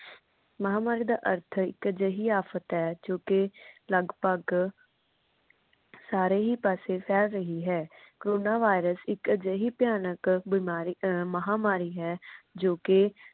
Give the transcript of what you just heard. ਮਹਾਮਾਰੀ ਦਾ ਅਰਥ ਇੱਕ ਅਜੇਹੀ ਆਫ਼ਤ ਹੈ। ਜੋ ਕਿ ਲੱਗਭਗ ਸਾਰੇ ਹੀ ਪਾਸੇ ਫੈਲ ਰਹੀ ਹੈ corona virus ਇਕ ਅਜੇਹੀ ਭਿਆਨਕ ਬਿਮਾਰੀ ਅਮ ਮਹਾਮਾਰੀ ਹੈ। ਜੋ ਕਿ